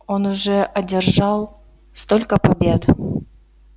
он уже одержал столько побед